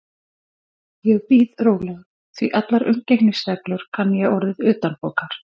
Ég bíð rólegur, því allar umgengnisreglur kann ég orðið utanbókar.